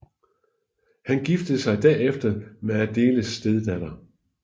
Han giftede sig derefter med Adéles stedatter